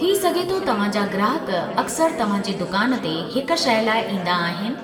थी सघे थो तव्हां जा ग्राहक अक्सर तव्हां जे दुकान ते हिकु शइ लाइ ईंदा आहिनि